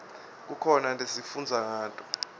kukhona lesifundza ngato